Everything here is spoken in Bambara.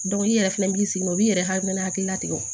i yɛrɛ fɛnɛ b'i sigi n'o ye b'i yɛrɛ hakilina tigɛ